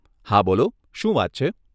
હા, બોલો શું વાત છે?